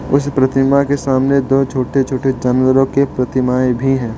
उस प्रतिमा के सामने दो छोटे छोटे जानवरों की प्रतिमाएं भी हैं।